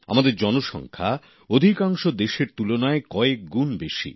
আমাদের জনসংখ্যা অধিকাংশ দেশের তুলনায় কয়েকগুণ বেশি